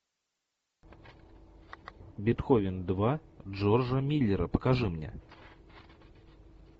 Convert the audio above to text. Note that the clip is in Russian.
бетховен два джорджа миллера покажи мне